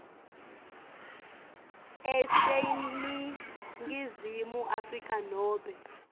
aseningizimu afrika nobe